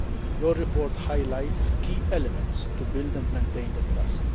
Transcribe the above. Your report highlights key elements to build and maintain that trust.